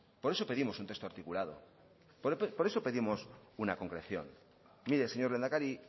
por eso pedimos un texto articulado por eso pedimos una concreción mire señor lehendakari